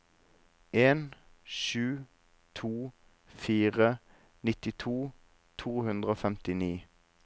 en sju to fire nittito to hundre og femtini